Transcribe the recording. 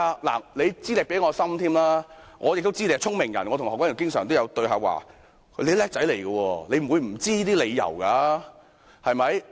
你的資歷比我深，我亦知道你是聰明人——我與何君堯議員也經常有對話——你是"叻仔"，不會不知道這些理由的，對嗎？